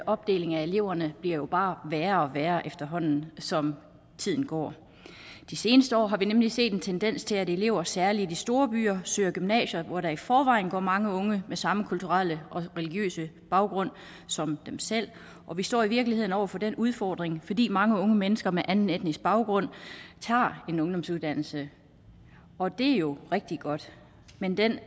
opdeling af eleverne bliver jo bare værre og værre efterhånden som tiden går de seneste år har vi nemlig set en tendens til at elever særlig i de store byer søger gymnasier hvor der i forvejen går mange unge med samme kulturelle og religiøse baggrund som dem selv og vi står i virkeligheden over for den udfordring fordi mange unge mennesker med anden etnisk baggrund tager en ungdomsuddannelse og det er jo rigtig godt men den